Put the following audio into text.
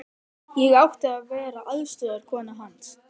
Ég átti að vera aðstoðarkona hans.